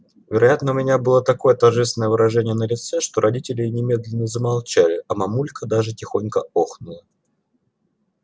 вероятно у меня было такое торжественное выражение на лице что родители немедленно замолчали а мамулька даже тихонько охнула